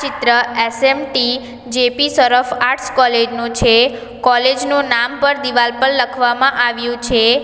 ચિત્ર S M T J P Shroff arts college નું છે કોલેજ નું નામ પણ દિવાલ પર લખવામાં આવ્યું છે.